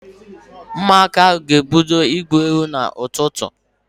Ụmụaka ahụ ga-ebido igwu egwu n'ụtụtụ